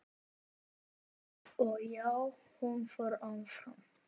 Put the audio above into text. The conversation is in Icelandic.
Og já, hún fór áfram!!